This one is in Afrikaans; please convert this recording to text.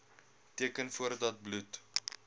teken voordat bloed